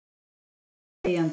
Þeir gengu þegjandi.